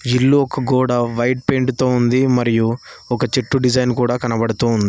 ఇల్లు ఒక గోడ వైట్ పెయింట్ తో ఉంది మరియు ఒక చెట్టు డిజైన్ కూడా కనబడు ఉంది.